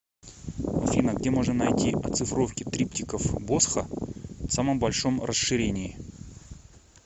афина где можно найти оцифровки триптихов босха в самом большом расширении